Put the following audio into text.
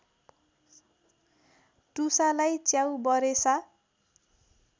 टुसालाई च्याउबरेसा